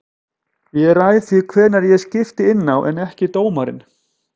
Ég ræð því hvenær ég skipti inná en ekki dómarinn.